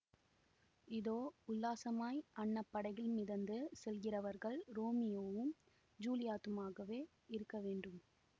இதோ உல்லாசமாய் அன்னப் படகில் மிதந்து செல்கிறவர்கள் ரோமியோவும் ஜுலியத்துமாகவே இருக்க வேண்டும்